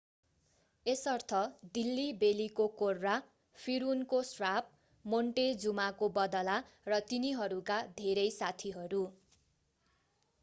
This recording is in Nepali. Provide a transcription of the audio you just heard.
यसर्थ दिल्ली बेलीको कोर्रा फिरउनको श्राप मोन्टेजुमाको बदला र तिनीहरूका धेरै साथीहरू